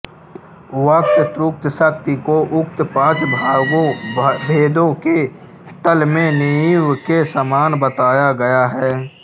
वक्तृत्वशक्ति को उक्त पाँच भेदों के तल में नींव के समान बताया गया है